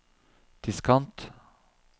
diskant